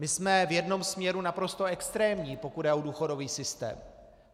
My jsme v jednom směru naprosto extrémní, pokud jde o důchodový systém.